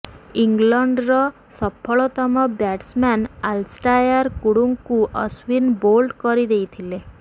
ଇଂଲଣ୍ଡର ସଫଳତମ batsman Alastair କୁକ୍ଙ୍କୁ ଅଶ୍ୱିନ ବୋଲ୍ଡ କରି ଦେଇଥିଲେ